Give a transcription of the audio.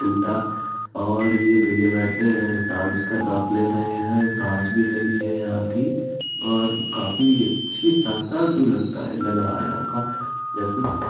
टूटा और ये भइया बैठें हैं। टाइल्स का नाप ले रहें हैं। घास भी लेनी है यहाँ की और काफी अच्छी शानदार व्यू लगता लग रहा है यहाँ का या --